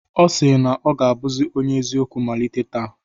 Ọ si na ọ ga-abụzi onye eziokwu malite taa.